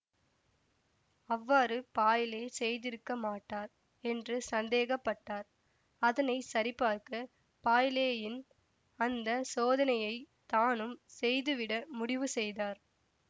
அவ்வாறு பாய்லே செய்திருக்க மாட்டார் என்று சந்தேகப்பட்டார் அதனை சரிபார்க்க பாய்லேயின் அந்த சோதனையைத் தானும் செய்து விட முடிவுசெய்தார்